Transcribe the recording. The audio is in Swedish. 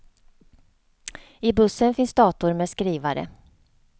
I bussen finns dator med skrivare.